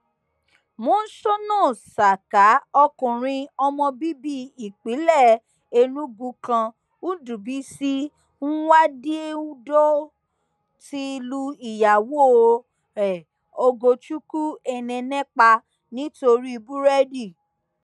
monsónà saka ọkùnrin ọmọ bíbí ìpínlẹ enugu kan ndúbísì nwádìédọw ti lu ìyàwó ẹ ògòchukwu enene pa nítorí búrẹdì